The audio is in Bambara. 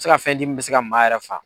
Se ka fɛn di min be se ka maa yɛrɛ faa